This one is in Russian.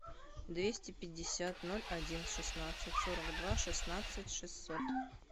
двести пятьдесят ноль один шестнадцать сорок два шестнадцать шестьсот